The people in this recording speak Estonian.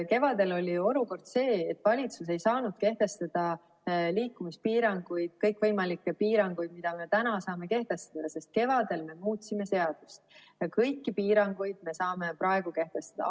Kevadel oli olukord see, et valitsus ei saanud kehtestada liikumispiiranguid, kõikvõimalikke piiranguid, mida me täna saame kehtestada, sest kevadel me muutsime seadust ja kõiki piiranguid me saame praegu kehtestada.